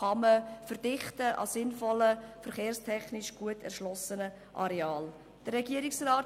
Auf diesen verkehrstechnisch gut erschlossenen Arealen kann man sinnvoll verdichten.